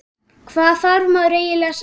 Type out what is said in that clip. Hvað þarf maður eiginlega að segja?